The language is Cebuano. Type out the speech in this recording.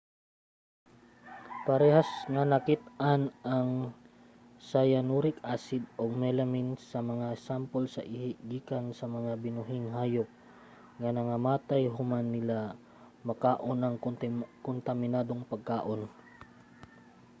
parehas nga nakit-an ang cyanuric acid ug melamine sa mga sampol sa ihi gikan sa mga binuhing hayop nga nangamatay human nila makaon ang kontaminadong pagkaon